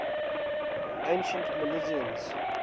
ancient milesians